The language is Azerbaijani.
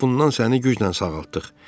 Bundan səni güclə sağaltdıq.